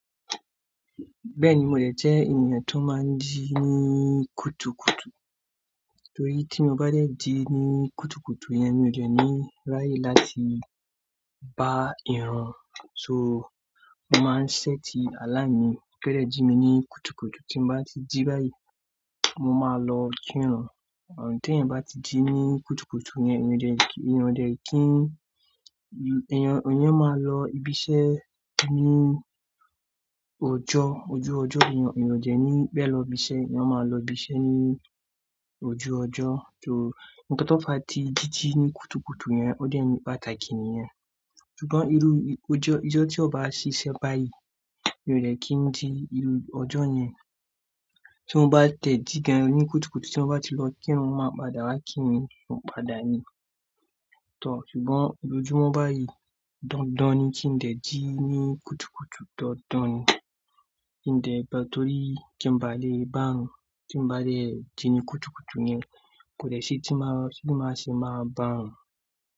Bẹ́ẹ̀ni, mo de jẹ́ ènìyàn tó máa ń jí ní kùtùkùtù. Torí tí mo bá dẹ̀ jí ní kùtùkùtù yẹn, mi ò jẹ́ ní ráyé láti bá ìran. So, mo máa ń set alarm mi ko dẹ̀ jí mi ní kùtùkùtù. Tí mo bá ti jí báyìí, mo máa lọ kí ìrun. Ti èèyàn bá ti jí ní kùtùkùtù yẹn, èèyàn ò jẹ́ kí, èèyàn ò jẹ́ kí, èèyàn, èèyàn máa lọ ibi iṣẹ́ ní òòjọ́, ojú ọjọ́ èèyàn, èèyàn ò jẹ́ ní bẹ́ẹ̀ lọ ibi iṣẹ́, èèyàn máa lọ ibi iṣẹ́ ní ojú ọjọ́. So, nnkan tó fà tí jíjí ní kùtùkùtù yẹn, ó jẹ́ ńi pátaki nìyẹn. Ṣùgbọ́n ìrú ijọ́, ìjọ tí ó bá ṣíṣe báyìí, mi ò lè kí ń ji ìrú òòjọ́ yẹn. Tí mo bá tẹ̀ jí gan ní kùtùkùtù, tí mo bá ti lọ kí ìrun, mo máa padà wá kí mi, mo padà ní. Tọ̀, ṣùgbọ́n lójoómọ́ báyìí, dandan ni kí n dẹ̀ jí ní kùtùkùtù, dandan ni kí n dẹ̀, torí tí mo bá le bá, tí mo bá dẹ̀ jí ní kùtùkùtù yẹn, kò lè ṣe tí mo, tí mo ṣé máa bá.